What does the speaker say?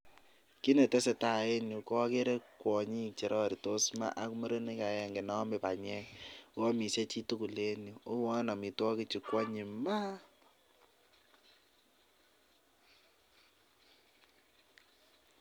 Kit netesetai en yu koogere kwonyik che roritos maa ak murenik agenge neome banyek. Ago amishe chitugul en yu, ago uwon amitwogikchu koanyiny maa!